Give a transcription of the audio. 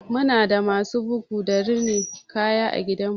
Muna da masu bugu da rinin kaya a gidanmu.